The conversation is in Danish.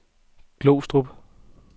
Glostrup